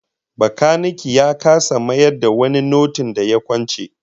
Bakanike ya kasa mayar da wani notin da ya kwance